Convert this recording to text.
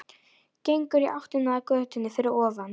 Gengur í áttina að götunni fyrir ofan.